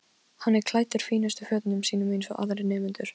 Allt miðar að því að öðlast fróun, án tafar.